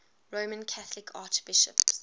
roman catholic archbishops